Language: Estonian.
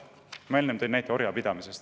Ma tõin enne näite orjapidamisest.